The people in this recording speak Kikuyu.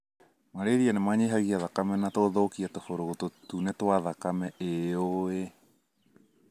Malaria nĩmanyihagia thakame na gũthukia tũburũgũtũ tũtune twa thakame ĩũĩĩ